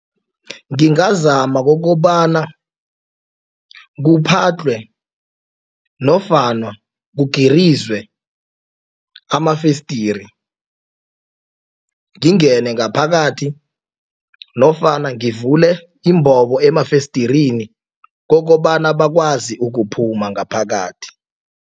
Ngingazama kokobana kuphadlhwe nofana kugirizwe amafesidere ngaphakathi nofana ngivule imbobo emafesidereni kokobana bakwazi ukuphuma ngaphakathi.